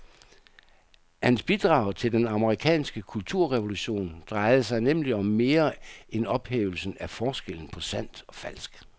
Hans bidrag til den amerikanske kulturrevolution drejede sig nemlig om mere end ophævelsen af forskellen på sandt og falsk.